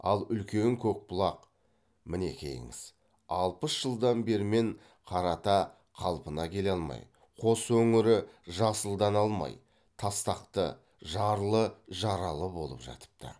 ал үлкен көкбұлақ мінекейіңіз алпыс жылдан бермен қарата қалпына келе алмай қос өңірі жасылдана алмай тастақты жарлы жаралы болып жатыпты